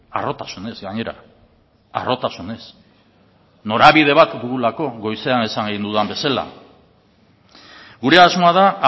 harrotasunez gainera harrotasunez norabide bat dugulako goizean esan egin dudan bezala gure asmoa da